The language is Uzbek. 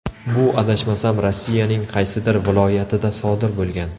Bu adashmasam Rossiyaning qaysidir viloyatida sodir bo‘lgan.